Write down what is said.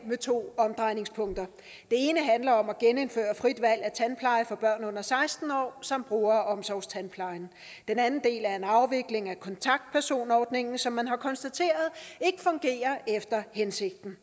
med to omdrejningspunkter det ene handler om at genindføre frit valg af tandpleje for børn under seksten år som bruger omsorgstandplejen den anden del er en afvikling af kontaktpersonordningen som man har konstateret ikke fungerer efter hensigten